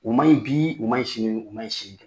U ma ɲi bi, u ma ɲi sin, u ma ɲi sini